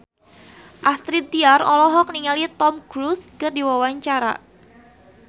Astrid Tiar olohok ningali Tom Cruise keur diwawancara